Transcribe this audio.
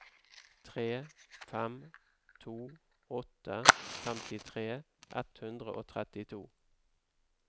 tre fem to åtte femtitre ett hundre og trettito